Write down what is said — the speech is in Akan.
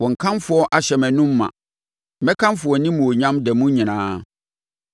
Wo nkamfo ahyɛ mʼanom ma, mekamfo wʼanimuonyam da mu nyinaa.